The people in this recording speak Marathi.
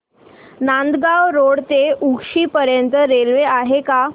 नांदगाव रोड ते उक्षी पर्यंत रेल्वे आहे का